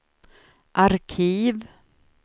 arkiv